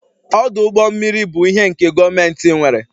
Ọdụ ụgbọ mmiri bụ ihe nke gọọmentị nwere